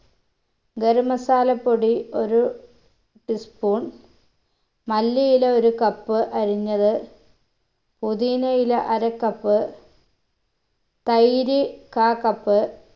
garam masala പൊടി ഒരു teaspoon മല്ലിയില ഒരു cup അരിഞ്ഞത് പൊതിന ഇല അര cup തൈര് കാ cup